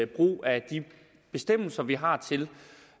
brug af de bestemmelser vi har til